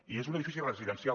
i és un edifici residencial